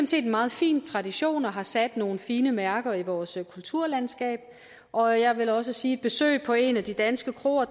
set en meget fin tradition der har sat nogle fine mærker i vores kulturlandskab og jeg vil også sige besøg på en af de danske kroer